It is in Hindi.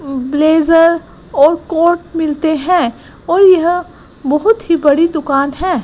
ब्लेजर और कोर्ट मिलते हैं और यह बहोत ही बड़ी दुकान है।